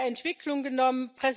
Entwicklung genommen.